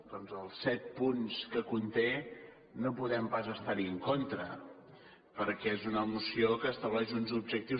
doncs als set punts que conté no podem pas estar·hi en contra perquè és una moció que estableix uns objectius